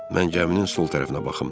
Mən gəminin sol tərəfinə baxım.